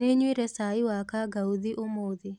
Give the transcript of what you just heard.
Nĩnyuire cai wa kangauthi ũmũthĩ.